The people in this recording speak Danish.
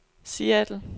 Seattle